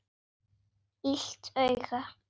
Illt auga.